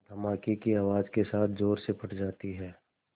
धमाके की आवाज़ के साथ ज़ोर से फट जाती है